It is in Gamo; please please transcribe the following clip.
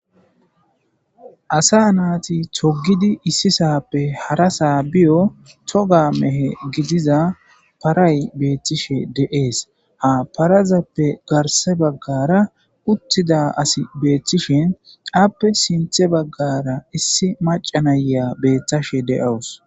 asa naati togidi issi sappe harasaa biyo toga mehe gidiza paray beettishe dee'es ha parazappe garse baggara uttida asi beeththishe appe sinthe baggara issi macanaya beettashe de7awus